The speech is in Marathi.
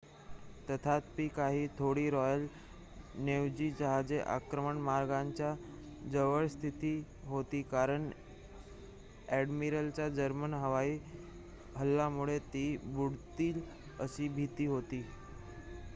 तथापि काही थोडी रॉयल नेव्ही जहाजे आक्रमण मार्गांच्या जवळ स्थित होती कारण अ‍ॅडमिरल्सना जर्मन हवाई हल्ल्यामुळे ती बुडतील अशी भीती होती